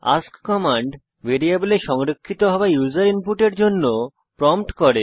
ask command ভ্যারিয়েবলে সংরক্ষিত হওয়া ইউসার ইনপুটের জন্য প্রম্পট করে